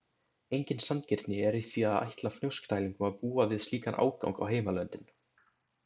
Engin sanngirni er í því að ætla Fnjóskdælingum að búa við slíkan ágang á heimalöndin.